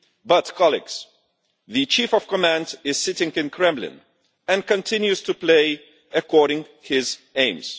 But, colleagues, the chief of command is sitting in the Kremlin and continues to play according to his aims.